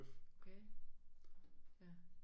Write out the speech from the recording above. Okay ja